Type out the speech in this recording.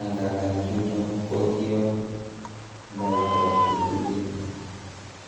angandan chuton ko kiob baita che tuten.